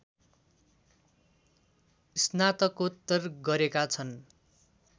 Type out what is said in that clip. स्नातकोत्तर गरेका छन्।